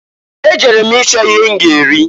Ejere m ịchọ ihe m ga-eri.